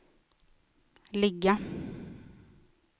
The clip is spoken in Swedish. ligga